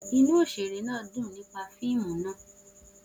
Oṣere naa dun nipa fiimu naa